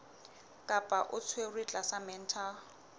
kapa o tshwerwe tlasa mental